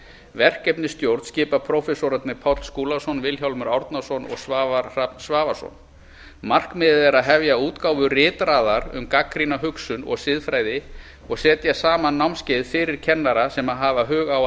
verkefnisstjórn skipa prófessorarnir páll skúlason vilhjálmur árnason og svavar hrafn svavarsson markmiðið er að hefja útgáfu ritraðar um gagnrýna hugsun og siðfræði og setja saman námskeið fyrir kennara sem hafa hug á